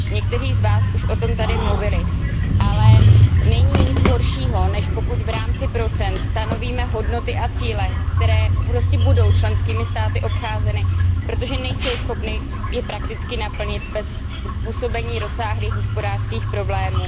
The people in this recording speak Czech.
Někteří z vás už o tom tady mluvili, ale není nic horšího, než pokud v rámci procent stanovíme hodnoty a cíle, které prostě budou členskými státy obcházeny, protože nejsou schopny je prakticky naplnit bez způsobení rozsáhlých hospodářských problémů.